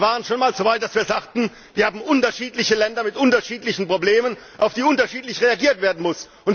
Wir waren schon mal so weit, dass wir sagten, wir haben unterschiedliche Länder mit unterschiedlichen Problemen, auf die unterschiedlich reagiert werden muss.